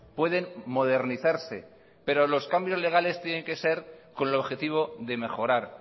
pueden modernizarse pero los cambios legales tienen que ser con el objetivo de mejorar